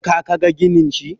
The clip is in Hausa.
ka ka ga ginin shi?